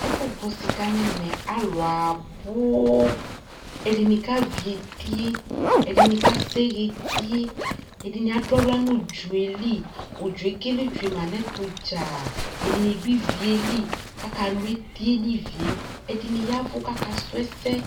Ɛfʋ gbɔ sιka nʋ ɛmɛ, alʋ abʋʋ, ɛdιnι kavι eti yɛ, ɛdιnι ka sɛɣɛ eti yɛ, ɛdιnι adʋ aɣla nʋ ʋdzɔ yɛ li Ʋdzɔ ekele tsyue ma nʋ ɛtʋ dzaa, ɛdιnι dʋ ivi yɛ li, kʋ aka lʋ eti yɛ nʋ ivi yɛ, ɛdιnι yavʋ kʋ akasʋ ɛsɛ